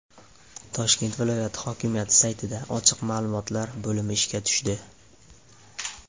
Toshkent viloyati hokimiyati saytida ochiq ma’lumotlar bo‘limi ishga tushdi.